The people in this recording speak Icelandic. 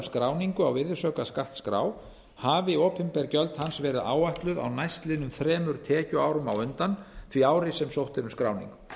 skráningu á virðisaukaskattsskrá hafi opinber gjöld hans verið áætluð á næstliðnum þremur tekjuárum á undan því ári sem sótt er um skráningu